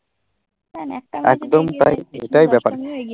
একদম তাই এটাই ব্যাপার।